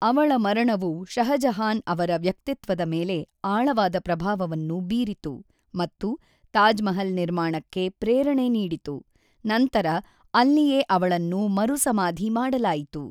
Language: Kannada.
ಅವಳ ಮರಣವು ಷಹಜಹಾನ್ ಅವರ ವ್ಯಕ್ತಿತ್ವದ ಮೇಲೆ ಆಳವಾದ ಪ್ರಭಾವವನ್ನು ಬೀರಿತು ಮತ್ತು ತಾಜ್ ಮಹಲ್ ನಿರ್ಮಾಣಕ್ಕೆ ಪ್ರೇರಣೆ ನೀಡಿತು, ನಂತರ ಅಲ್ಲಿಯೇ ಅವಳನ್ನು ಮರುಸಮಾಧಿ ಮಾಡಲಾಯಿತು.